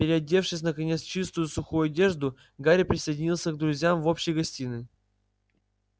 переодевшись наконец в чистую сухую одежду гарри присоединился к друзьям в общей гостиной